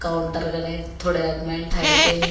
काउंटरगने थोड़े आदमीया ठेर के है।